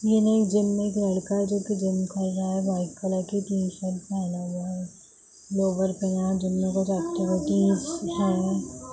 Gym में एक लड़का है जो कि जिम कर रहा है वाइट कलर की टी-शर्ट पहना हुआ है लोवर पहना है जिम में है।